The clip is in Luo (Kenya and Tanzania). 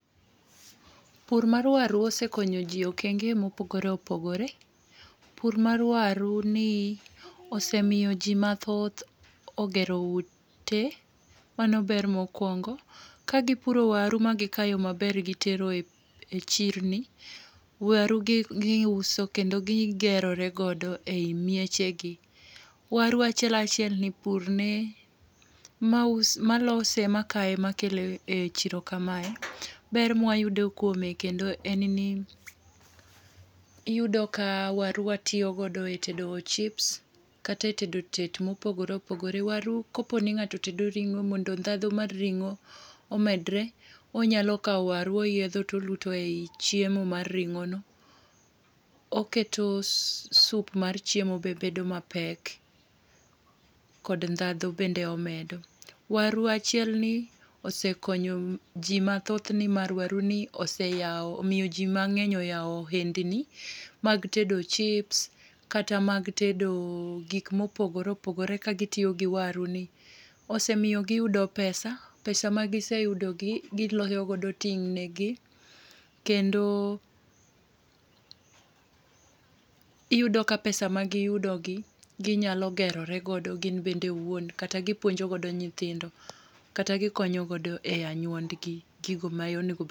Pur mar waru osekonyo jii okenge mopogore opogore. Pur mar waru ni osemiyo jii mathoth ogero ute, mano ber mokwongo. Ka gipuro waru ma gikayo maber gitero e chirni. Waru gi giuso kendo gigero godo e miechegi. Waru achiel achiel ni purne maus malose makaye makele chiro kamae ber mwayudo kuome kendo en ni, iyudo ka waru watiyo godo e tedo chips kata e tedo tet mopogore opogore. Waru kopo ni ng'ato tedo ring'o mondo ndhandu mar ring'o omedre onyalo kawo waru oyiedho toluto e chiemo mar ring'o no. Oketo sup mar chiemo be bedo mapek kod ndhadhu bende omedo. Waru achiel ni osekonyo jii mathoth nimar waru ni oseyawo omiyo jii mang'eny oyawo ohendni mag tedo chips kata mag tedo gik mopogore opogore ka gitiyo gi waru ni .Omiyo giyudo pesa pesa ma giseyudo gi giloso godo kendo iyudo ka pesa ma giyudo gi ginyalo geroro godo gin bende owuon kata gipuonjo godo nyithindo, kata gikonyo godo e anyuondgi gigo ma onego bed